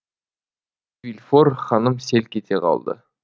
вильфор ханым селк ете қалды